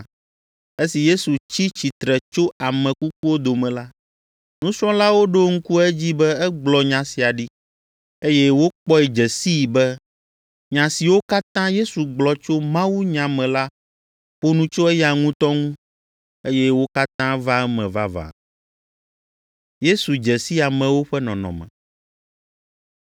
Esi Yesu tsi tsitre tso ame kukuwo dome la, nusrɔ̃lawo ɖo ŋku edzi be egblɔ nya sia ɖi. Eye wokpɔe dze sii be nya siwo katã Yesu gblɔ tso mawunya me la ƒo nu tso eya ŋutɔ ŋu, eye wo katã va eme vavã.